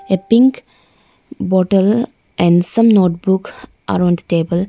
a pink bottle and some notebook around the table.